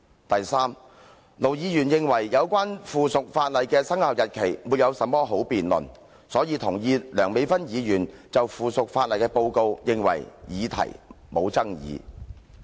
第三，盧議員認為，有關附屬法例的生效日期沒有甚麼好辯論，所以同意梁美芬議員就附屬法例所作的報告，認為議題沒有爭議性。